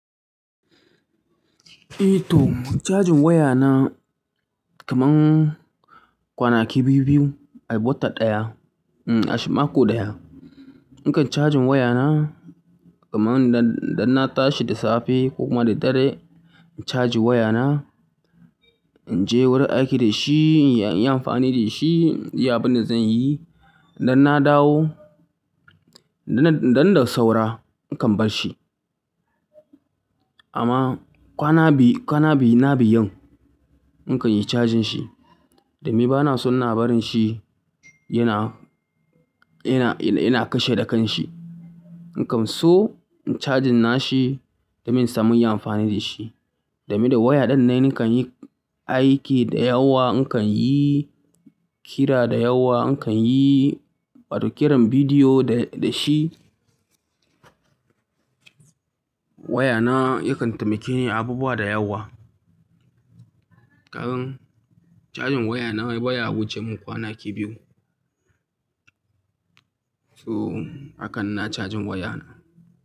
Eh to, cajin waya na kaman kwanaki biyu-biyu a wata ɗaya, a mako ɗaya. In kan cajin waya na kaman idan na tashi da safe ko kuma da dare in caji waya na, in je wurin aiki da shi, in yi amfani da shi, inyi abin da zan yi. Idan na dawo, idan da saura, in kan bar shi. Amma kwana biyu, kwana biyu na biyun in kan yi cajin shi. Domin ba na so ina barin shi yana, yana, yana kashe da kan shi. In kam so in cajin na shi domin in sami yin amfani da shi. Domin da waya ɗinne nakan yi aiki da yawa, in kan yi kira da yawa, in kan yi wato kiran bidiyo da shi. Waya na yakan taimake inyi abubuwa da yawa. Kagan cajin waya na ai baya wuce min kwanaki biyu. So hakan na cajin waya na.